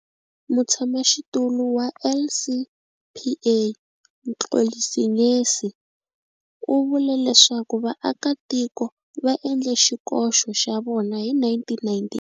Mutshamaxitulu wa LCPA, Mxolisi Ngesi u vule leswaku vaakatiko va endle xikoxo xa vona hi 1998.